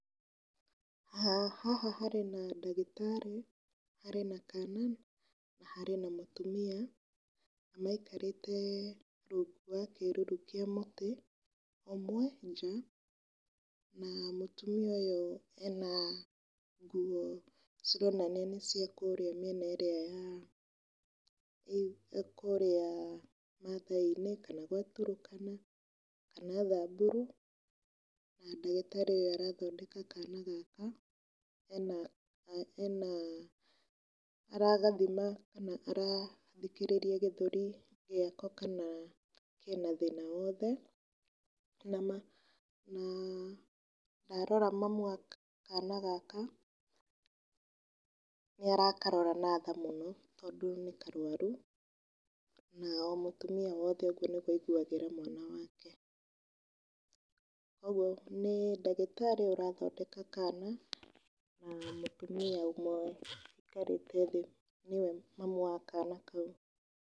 Haha harĩ na ndagĩtarĩ, harĩ na kana, na harĩ na mũtumia, na aikarĩte rungu wa kĩruru kĩa mũtĩ ũmwe nja, na mũtumia ũyũ ena nguo cironania nĩ ciakũrĩa mĩena ĩrĩa ya kũrĩa mathai-inĩ kana gwa Turkana kana thaburu. Na ndagĩtarĩ ũyũ arathondeka kana gaka, ena ena aragathima kana arathikĩrĩria gĩthũri gĩako, kana kena thĩna o wothe. Na ndarora mamu wa kana gaka, nĩ arakarora na tha mũno tondũ nĩ karwaru, na o mũtumia wothe ũguo nĩguo aiguagĩra mwana wake. Koguo nĩ ndagĩtarĩ ũrathondeka kana, na mũtumia ũmwe wũikarĩte thĩ nĩwe mamu wa kana kau.